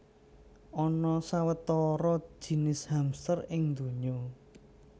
Ana sawetara jinis hamster ing donya